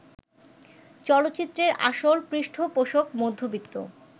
চলচ্চিত্রের আসল পৃষ্ঠপোষক মধ্যবিত্ত